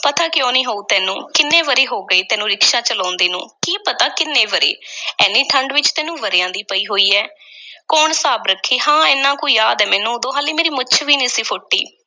ਪਤਾ ਕਿਉਂ ਨੀ ਹੋਊ ਤੈਨੂੰ? ਕਿੰਨੇ ਵਰ੍ਹੇ ਹੋ ਗਏ ਤੈਨੂੰ ਰਿਕਸ਼ਾ ਚਲਾਉਂਦੇ ਨੂੰ? ਕੀ ਪਤਾ ਕਿੰਨੇ ਵਰ੍ਹੇ ਐਨੀ ਠੰਢ ਵਿੱਚ ਤੈਨੂੰ ਵਰ੍ਹਿਆਂ ਦੀ ਪਈ ਹੋਈ ਹੈ ਕੌਣ ਹਿਸਾਬ ਰੱਖੇ ਹਾਂ, ਐਨਾ ਕੁ ਯਾਦ ਐ ਮੈਨੂੰ, ਉਦੋਂ ਹਾਲੇ ਮੇਰੀ ਮੁੱਛ ਵੀ ਨਹੀਂ ਸੀ ਫੁੱਟੀ।